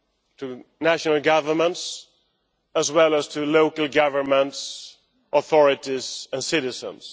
To national governments as well as to local governments, authorities and citizens.